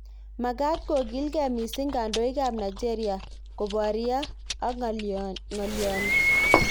Makaaat kokiilgei missing kandoik ab Nigeria koboryo ak ng'alyoni